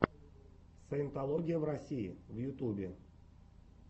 саентология в россии в ютюбе